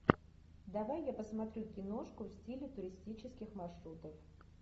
давай я посмотрю киношку в стиле туристических маршрутов